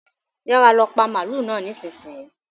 Yára lọ pa màlúù náà nísìnyìí.